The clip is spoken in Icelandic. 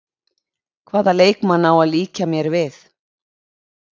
Hvaða leikmann á að líkja mér við?